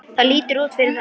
Það lítur út fyrir það